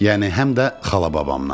Yəni həm də xala-babamdan.